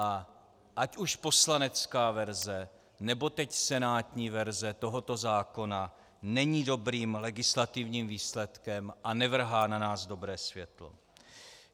A ať už poslanecká verze, nebo teď senátní verze tohoto zákona není dobrým legislativním výsledkem a nevrhá na nás dobré světlo.